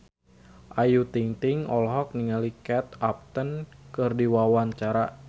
Ayu Ting-ting olohok ningali Kate Upton keur diwawancara